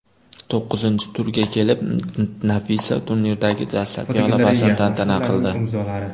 To‘qqizinchi turga kelib Nafisa turnirdagi dastlabki g‘alabasini tantana qildi.